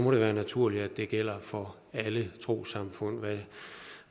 være naturligt at det gælder for alle trossamfund hvad